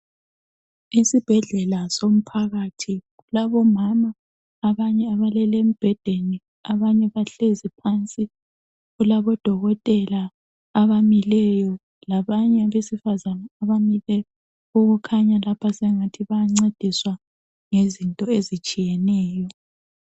Isibhedlela somphakathi kulabomama abanye abalele embhedeni, abanye bahlezi phansi. Kulabodokotela abamileyo, labanye abesifazana abamileyo okukhanya lapha sengathi bayancediswa ngezinto ezitshiyeneyo.